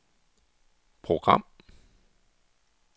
program